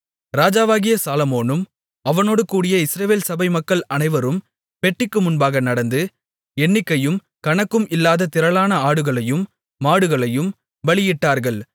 ராஜாவாகிய சாலொமோனும் அவனோடு கூடிய இஸ்ரவேல் சபை மக்கள் அனைவரும் பெட்டிக்கு முன்பாக நடந்து எண்ணிக்கையும் கணக்கும் இல்லாத திரளான ஆடுகளையும் மாடுகளையும் பலியிட்டார்கள்